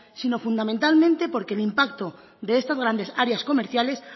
sino fundamentalmente porque el impacto de estas grandes áreas comerciales